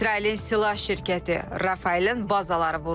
İsrailin silah şirkəti Rafaelin bazaları vuruldu.